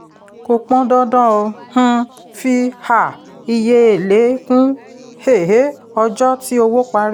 kò pọn dandan um fi um iye èlé kún um ọjọ́ tí owó parí.